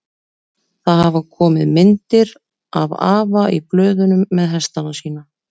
Það hafa komið myndir af afa í blöðunum með hestana sína.